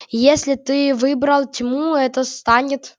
если ты выбрал тьму это станет